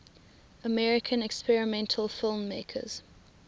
american experimental filmmakers